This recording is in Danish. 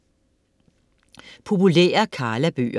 Populære Karla-bøger